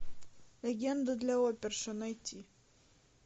легенда для оперши найти